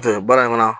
baara in kɔnɔ